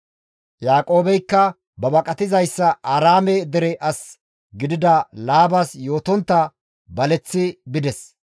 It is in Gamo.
Yaaqoobeykka ba baqatizayssa Aaraame dere asi gidida Laabas yootontta baleththi bides.